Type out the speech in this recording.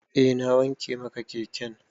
Eh na wanke maka keken.